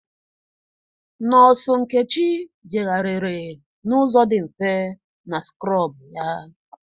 Nọọsụ Nkechi jegharịrị n'ụzọ dị mfe na skrọbụ ya.